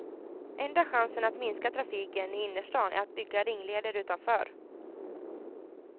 Enda chansen att minska trafiken i innerstan är att bygga ringleder utanför.